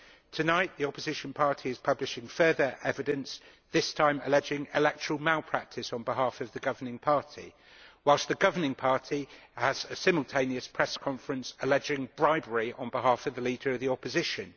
Tonight, the opposition party is publishing further evidence this time alleging electoral malpractice on behalf of the governing party while the governing party has a simultaneous press conference alleging bribery on behalf of the leader of the opposition.